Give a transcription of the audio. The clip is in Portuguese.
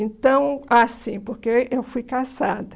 Então, ah sim, porque eu fui caçada.